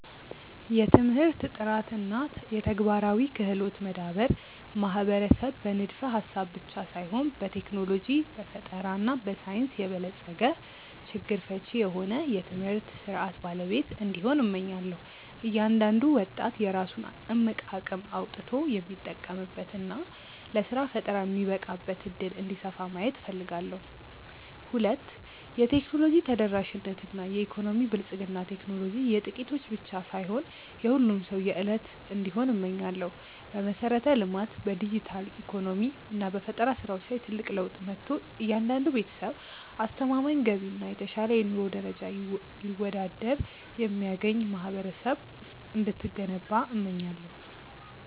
1. የትምህርት ጥራት እና የተግባራዊ ክህሎት መዳበር ማህበረሰብ በንድፈ-ሐሳብ ብቻ ሳይሆን በቴክኖሎጂ፣ በፈጠራ እና በሳይንስ የበለጸገ፣ ችግር ፈቺ የሆነ የትምህርት ሥርዓት ባለቤት እንዲሆን፣ እመኛለሁ። እያንዳንዱ ወጣት የራሱን እምቅ አቅም አውጥቶ የሚጠቀምበት እና ለሥራ ፈጠራ የሚበቃበት ዕድል እንዲሰፋ ማየት እፈልጋለሁ። 2. የቴክኖሎጂ ተደራሽነት እና የኢኮኖሚ ብልጽግና ቴክኖሎጂ የጥቂቶች ብቻ ሳይሆን የሁሉም ሰው የዕለት እንዲሆን እመኛለሁ። በመሠረተ-ልማት፣ በዲጂታል ኢኮኖሚ እና በፈጠራ ሥራዎች ላይ ትልቅ ለውጥ መጥቶ፣ እያንዳንዱ ቤተሰብ አስተማማኝ ገቢ እና የተሻለ የኑሮ ደረጃ ይወዳድር የሚያገኝ ማህበረሰብ እንድትገነባ እመኛለሁ።